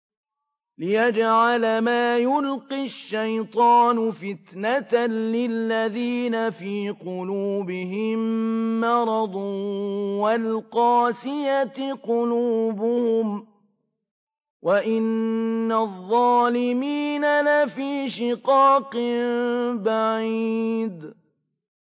لِّيَجْعَلَ مَا يُلْقِي الشَّيْطَانُ فِتْنَةً لِّلَّذِينَ فِي قُلُوبِهِم مَّرَضٌ وَالْقَاسِيَةِ قُلُوبُهُمْ ۗ وَإِنَّ الظَّالِمِينَ لَفِي شِقَاقٍ بَعِيدٍ